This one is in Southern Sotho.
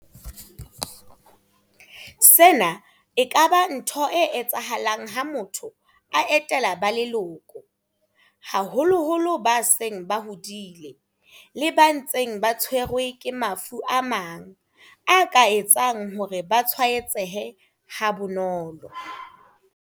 Sena e ka ba ntho e etsahalang ha motho a etela ba leloko, haholoholo ba seng ba hodile le ba ntseng ba tshwerwe ke mafu a mang a ka etsang hore ba tshwae tsehe ha bonolo.